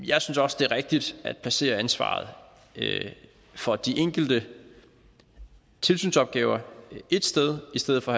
jeg synes også det er rigtigt at placere ansvaret for de enkelte tilsynsopgaver et sted i stedet for